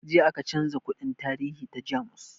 Jiya aka canza kundin tarihi ta jamus